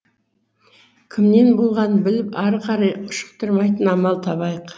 кімнен болғанын біліп ары қарай ушықтырмайтын амал табайық